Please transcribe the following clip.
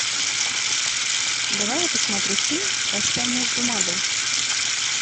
давай я посмотрю фильм прощание с бумагой